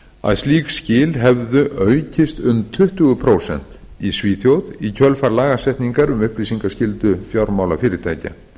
að slík skil hefðu aukist um tuttugu prósent í svíþjóð í kjölfar lagasetningar um upplýsingaskyldu fjármálafyrirtækja